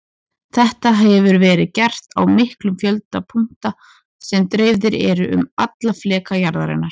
Þetta hefur verið gert á miklum fjölda punkta sem dreifðir eru um alla fleka jarðarinnar.